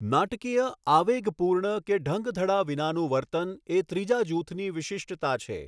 નાટકીય આવેગપૂર્ણ કે ઢંગધડા વિનાનું વર્તન એ ત્રીજા જૂથની વિશિષ્ટતા છે.